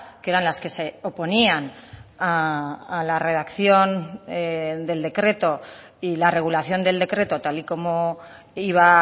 que eran las que se oponían a la redacción del decreto y la regulación del decreto tal y como iba